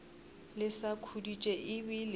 le sa khuditše e bile